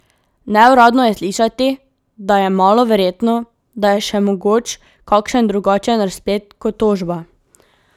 Neuradno je slišati, da je malo verjetno, da je še mogoč kakšen drugačen razplet kot tožba.